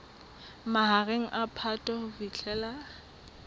mahareng a phato ho fihlela